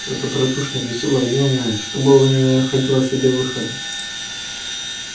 то добродушное весёлое юное что было в нем не находило себе выхода